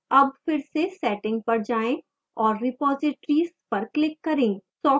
अब फिर से setting पर जाएं और repositories पर click करें